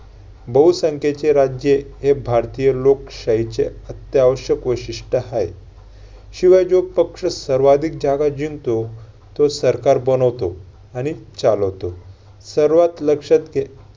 बहुसंख्येचे राज्य हा भारतीय लोकशाहीचे अत्यावश्यक वैशिष्ट्य आहे. शिवाय जो पक्ष सर्वाधिक जागा जिंकतो तो सरकार बनवतो आणि चालवतो. सर्वात लक्षात घे~